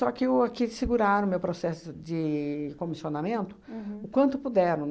que o aqui eles seguraram o meu processo de comissionamento o quanto puderam.